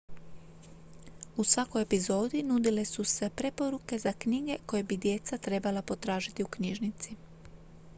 u svakoj epizodi nudile su se preporuke za knjige koje bi djeca trebala potražiti u knjižnici